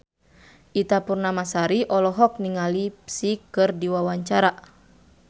Ita Purnamasari olohok ningali Psy keur diwawancara